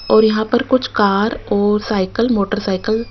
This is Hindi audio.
और यहां पर कुछ कार और साइकिल मोटरसाइकिल --